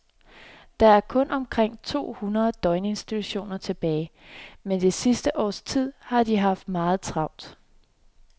Der er kun omkring to hundrede døgninstitutioner tilbage, men det sidste års tid har de haft meget travlt.